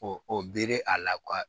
o bere a la